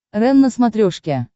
рен на смотрешке